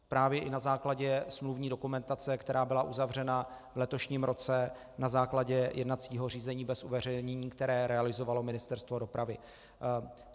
Právě i na základě smluvní dokumentace, která byla uzavřena v letošním roce na základě jednacího řízení bez uveřejnění, které realizovalo Ministerstvo dopravy.